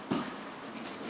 O tərəfə baxın.